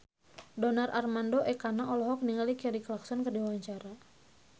Donar Armando Ekana olohok ningali Kelly Clarkson keur diwawancara